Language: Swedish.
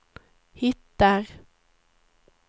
hittar